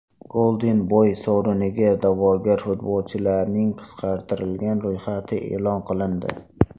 Golden Boy sovriniga da’vogar futbolchilarning qisqartirilgan ro‘yxati e’lon qilindi.